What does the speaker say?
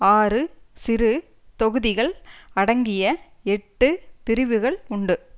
ஆறு சிறு தொகுதிகள் அடங்கிய எட்டு பிரிவுகள் உண்டு